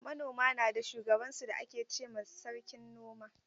Manoma na da shugaban su da ake ce ma sarkin noma.